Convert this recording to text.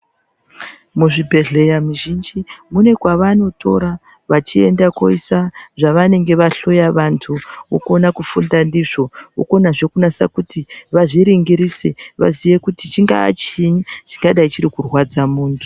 Muzvibhedhlera muzhinji munekwavanotora vachienda koisa zvavanenge vahloya vantu vokona kufunda ndizvo vokonazve kunasa kuti vazviringirise vziye kuti chingaa chiinyi chingadai chirikurwadza muntu.